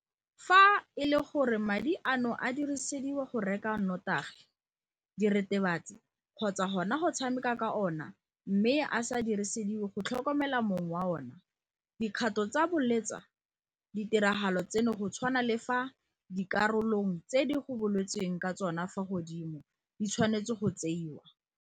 Fa e le gore madi ano a dirisediwa go reka notagi, diritibatsi kgotsa gona go tshameka ka ona mme a sa dirisediwe go tlhokomela mong wa ona, dikgato tsa go buletsa ditiragalo tseno go tshwana le fa dikarolong tse go boletsweng ka tsona fa godimo di tshwanetswe go tsewa,